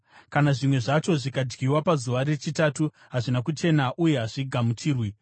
Kana zvimwe zvacho zvikadyiwa pazuva rechitatu hazvina kuchena uye hazvigamuchirwi.